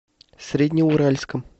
среднеуральском